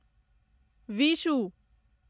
Vishu